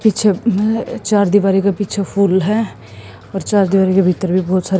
पीछे चार दिवारी के पीछे फूल हैं और चार दिवारी के भीतर भी बहोत सारे--